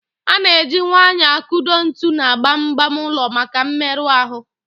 A na eji nwayọọ akụdo ntu na gbam gbam ụlọ maka mmerụ ahụ